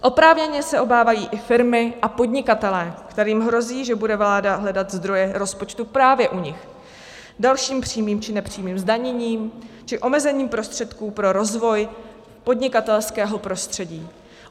Oprávněně se obávají i firmy a podnikatelé, kterým hrozí, že bude vláda hledat zdroje rozpočtu právě u nich dalším přímým či nepřímým zdaněním či omezením prostředků pro rozvoj podnikatelského prostředí.